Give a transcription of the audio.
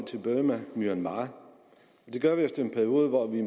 burma myanmar det gør vi efter en periode hvor vi